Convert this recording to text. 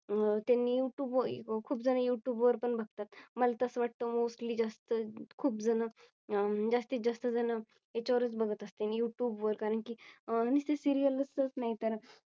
अह त्यांनी Youtube खूप जण Youtube वर पण बघतात. मला तसं वाटतं Mostly ली जास्त खूप अह जण जास्तीत जास्त जण याच्यावर बघत असतील Youtube वर कारण की नुसती Serial तच नाही तर